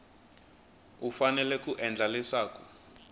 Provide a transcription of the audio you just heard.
u fanele ku endla leswaku